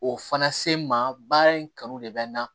O fana se ma baara in kanu de bɛ n na